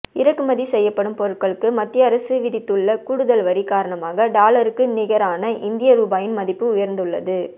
இறக்குமதி செய்யப்படும் பொருட்களுக்கு மத்திய அரசு விதித்துள்ள கூடுதல் வரி காரணமாக டாலருக்கு நிகரான இந்திய ரூபாயின் மதிப்பு உயர்ந்துள்ளது